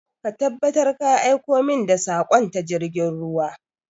Ka tabbatar ka aiko min da saƙon ta jirgin ruwa!